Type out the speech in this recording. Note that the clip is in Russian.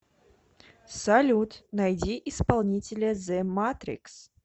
салют найди исполнителя зе матрикс